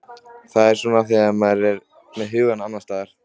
Það er svona þegar maður er með hugann annars staðar.